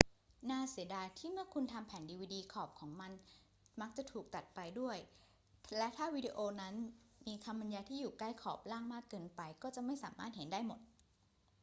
น่าเสียดายที่เมื่อคุณทำแผ่นดีวีดี ขอบของมันมักจะถูกตัดไปด้วย และถ้าวิดีโอนั้นมีคำบรรยายที่อยู่ใกล้ขอบล่างมากเกินไป ก็จะไม่สามารถเห็นได้หมด